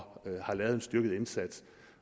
har lavet en styrket indsats